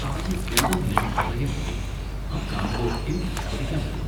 തറയിൽ ഉടനീളം നിറയെ മുടി . അത് കാണുമ്പോ എനിയ്ക്ക് ഛർദ്ദിക്കാൻ വരുന്നു.